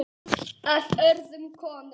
Á öðrum konum.